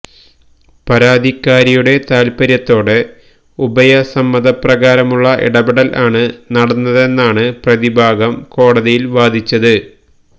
പരാതിക്കാരിയുടെ താൽപര്യത്തോടെ ഉഭയസമ്മതപ്രകാരമുള്ള ഇടപെടലുകൾ ആണ് നടന്നതെന്നാണ് പ്രതിഭാഗം കോടതിയിൽ വാദിച്ചത്